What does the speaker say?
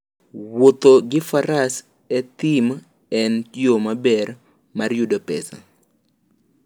Wuoth gi Faras e thim en yo maber mar yudo pesa.